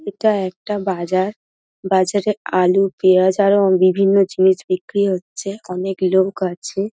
এটা একটা বাজার বাজারে আলু পেঁয়াজ আরও বিভিন্ন জিনিস বিক্রি হচ্ছে অনেক লোক আছে।